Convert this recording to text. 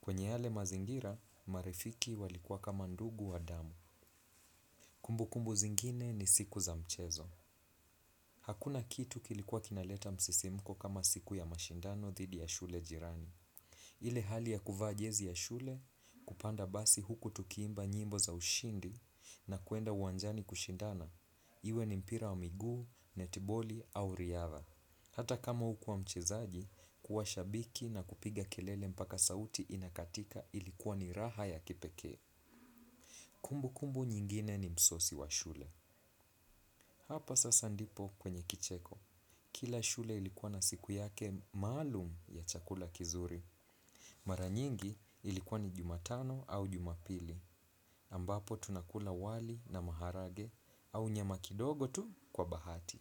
Kwenye yale mazingira marafiki walikua kama ndugu wa damu. Kumbu kumbu zingine ni siku za mchezo. Hakuna kitu kilikuwa kinaleta msisimuko kama siku ya mashindano dhidi ya shule jirani. Ile hali ya kuvaa jezi ya shule kupanda basi huku tukiimba nyimbo za ushindi na kwenda uwanjani kushindana. Iwe ni mpira wa miguu, netiboli au riadha. Hata kama ukua mchezaji, kuwa shabiki na kupiga kelele mpaka sauti inakatika ilikuwa ni raha ya kipekee. Kumbu kumbu nyingine ni msosi wa shule. Hapa sasa ndipo kwenye kicheko. Kila shule ilikuwa na siku yake malum ya chakula kizuri. Maranyingi ilikuwa ni Jumatano au Jumapili. Ambapo tunakula wali na maharage au nyama kidogo tu kwa bahati.